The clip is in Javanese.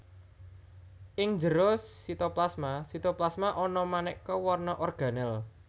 Ing njero sitoplasmaSitoplasma ana manéka warna organel